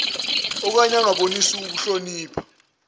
okanye angabonisi kuhlonipha